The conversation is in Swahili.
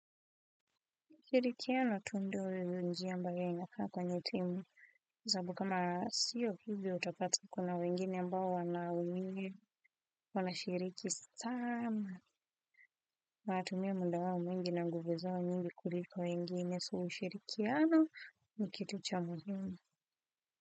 Shirikiano tu ndo njia ambayo inakaa kwanye timu. Kwa sababu kama sio hivyo utapata kuna wengine ambao wanashiriki sana. Wanatumia muda wao mwingi na nguvu zao nyingi kuliko wengine so ushirikiano ni kitu cha muhimu.